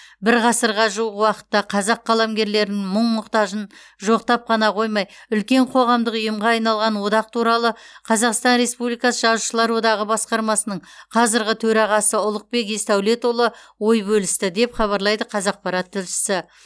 бір ғасырға жуық уақытта қазақ қаламгерлерінің мұң мұқтажын жоқтап қана қоймай үлкен қоғамдық ұйымға айналған одақ туралы қазақстан республикасы жазушылар одағы басқармасының қазіргі төрағасы ұлықбек есдәулетұлы ой бөлісті деп хабарлайды қазақпарат тілшісі